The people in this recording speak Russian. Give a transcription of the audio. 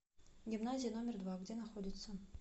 гимназия номер два где находится